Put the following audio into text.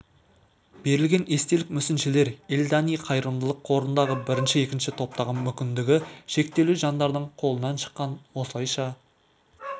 берілген естелік мүсіншелер эльдани қайырымдылық қорындағы бірінші екінші топтағы мүмкіндігі шектеулі жандардың қолынан шыққан осылайша